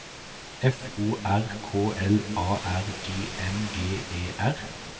F O R K L A R I N G E R